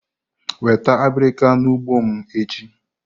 Weta abirika n'ugbo m echi!